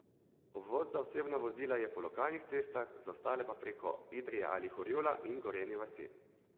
Obvoz za osebna vozila je po lokalnih cestah, za ostale pa preko Idrije ali Horjula in Gorenje vasi.